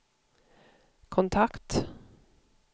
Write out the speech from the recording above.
kontakt